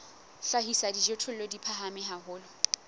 hlahisa dijothollo di phahame haholo